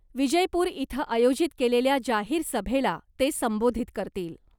विजयपूर इथं आयोजित केलेल्या जाहीर सभेला ते संबोधित करतील .